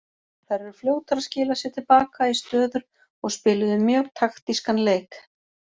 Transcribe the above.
Þær eru fljótar að skila sér til baka í stöður og spiluðu mjög taktískan leik.